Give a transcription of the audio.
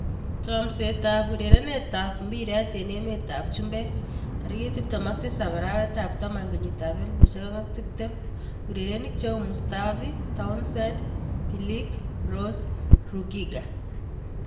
Chomset ab urerenet ab mbiret eng emet ab chumbek 27.10.2020: Mustafi, Townsend, Bilic, Rose, Rugiger